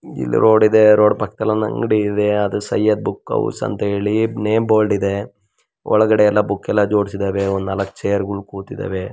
ಇಲ್ಲಿ ರೋಡ್ ಇದೆ ರೋಡ್ ಪಕ್ಕದಲ್ಲಿ ಒಂದು ಅಂಗಿಡಿ ಇದೆ ಅದು ಸ್ಯೆಡ್ ಬುಕ್ಹೌಸ್ ಅಂತ ನೇಮ್ ಬೋರ್ಡ್ ಇದೆ ಒಳಗಡೆ ಎಲ್ಲ ಬುಕ್ ಎಲ್ಲ ಜೋಡಿಸಿದವೇ ಒಂದು ನಾಲಕ್ಕು ಚೇರ್ ಕುತಿದವೇ.